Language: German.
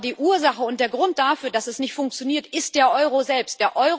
Aber die Ursache und der Grund dafür, dass es nicht funktioniert, ist der Euro selbst.